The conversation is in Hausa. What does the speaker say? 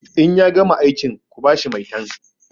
In ya gama aikin ku ba shi maitan!